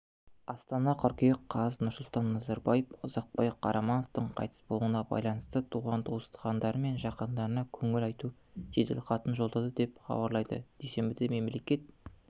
астана қыркүйек қаз нұрсұлтан назарбаев ұзақбай қарамановтың қайтыс болуына байланысты туған-туысқандары мен жақындарына көңіл айту жеделхатын жолдады деп хабарлады дүйсенбіде мемлекет